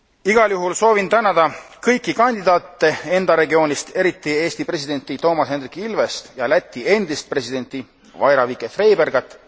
Igal juhul soovin tänada kõiki kandidaate enda regioonist, eriti Eesti presidenti Toomas Hendrik Ilvest ja Läti endist presidenti Vaira Vīķe Freibergat.